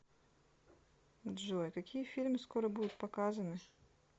джой какие фильмы скоро будут показаны